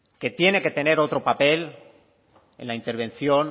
que tiene que tener otro papel en la intervención